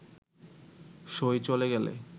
সই চলে গেলে